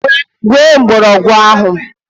Gwee mgbọrọgwụ ahụ!